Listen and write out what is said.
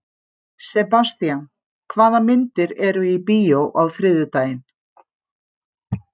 Sebastian, hvaða myndir eru í bíó á þriðjudaginn?